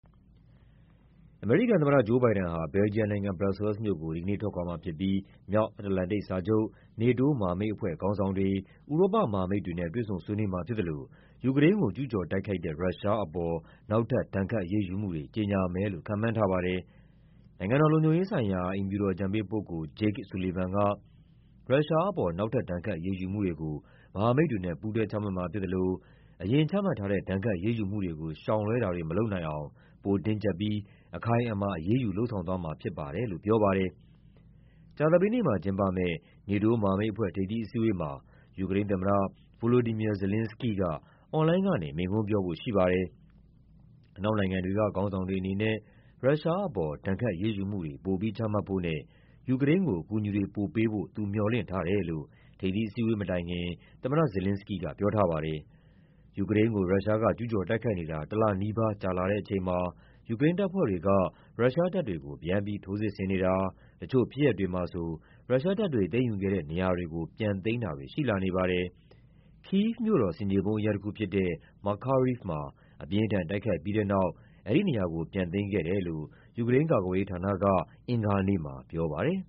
အမေရိကန်သမ္မတ Joe Biden ဟာ ဘယ်လ်ဂျီယံနိုင်ငံ၊ ဘရပ်ဆဲလ်စ်မြို့ကို ဒီကနေ့ထွက်ခွာမှာဖြစ်ပြီး မြောက်အတ္တလန်တိတ် စာချုပ် NATO မဟာမိတ်အဖွဲ့ ခေါင်းဆောင်တွေ၊ ဥရောပမဟာမိတ်တွေနဲ့ တွေ့ဆုံဆွေးနွေးမှာဖြစ်သလို ယူကရိန်းကို ကျူးကျော် တိုက်ခိုက်တဲ့ ရုရှားအပေါ် နောက်ထပ် ဒဏ်ခတ်အရေးယူမှုတွေ ကြေညာမယ်လို့ ခန့်မှန်းထားပါတယ်။ နိုင်ငံတော်လုံခြုံရေးဆိုင်ရာ အိမ်ဖြူတော် အကြံပေးပုဂ္ဂိုလ် Jake Sullivan က ရုရှားအပေါ် နောက်ထပ် ဒဏ်ခတ်အရေးယူမှုတွေ ကို မဟာမိတ်တွေနဲ့ ပူးတွဲချမှတ်မှာဖြစ်သလို အရင်ချမှတ်ထားတဲ့ ဒဏ်ခတ်အရေးယူမှုတွေကို ရှောင်လွဲတာတွေ မလုပ်နိုင်အောင် ပိုတင်းကျပ်ပြီး အခိုင်အမာ အရေးယူလုပ်ဆောင်သွားမှာဖြစ်ပါတယ်လို့ ပြောပါတယ်။ ကြာသပတေးနေ့မှာကျင်းပမယ့် NATO မဟာမိတ်အဖွဲ့ ထိပ်သီးအစည်းအဝေးမှာ ယူကရိန်းသမ္မတ Volodymyr Zelenskyy က အွန်လိုင်းကနေ မိန့်ခွန်းပြောဖို့ရှိပါတယ်။ အနောက်နိုင်ငံတွေက ခေါင်းဆောင်တွေအနေနဲ့ ရုရှားအပေါ် ဒဏ်ခတ်အရေးယူမှုတွေ ပိုပြီးချမှတ်ဖို့နဲ့ ယူကရိန်းကို အကူအညီတွေပိုပေးဖို့ သူမျှော်လင့်ထားတယ်လို့ ထိပ်သီးအစည်းအဝေးမတိုင်ခင် သမ္မတ Zelenskyy ကပြောထားပါတယ်။ ယူကရိန်းကို ရုရှားက ကျူးကျော်တိုက်ခိုက်နေတာ တလနီးပါး ကြာလာတဲ့အချိန်မှာ ယူကရိန်းတပ်ဖွဲ့တွေက ရုရှားတပ်တွေကို ပြန်ပြီးထိုးစစ်ဆင်နေတာ၊ တချို့ဖြစ်ရပ်တွေမှာဆို ရုရှားတပ်တွေသိမ်းယူခဲ့တဲ့နေရာတွေကို ပြန်သိမ်းတာတွေ ရှိလာနေပါတယ်။ ကိဗ်မြို့တော် ဆင်ခြေဖုံးအရပ်တခုဖြစ်တဲ့ Makariv မှာ အပြင်းအထန် တိုက်ခိုက်ပြီးတဲ့နောက် အဲဒီနေရာကို ပြန်သိမ်းခဲ့တယ်လို့ ယူကရိန်း ကာကွယ်ရေးဌာနက အင်္ဂါနေ့မှာပြောပါတယ်